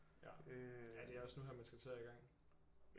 Ja ja det er også nu her at man skal til at i gang